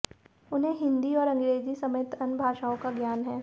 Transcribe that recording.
उन्हें हिंदी और अंग्रेजी समेत अन्य भाषाओं का ज्ञान है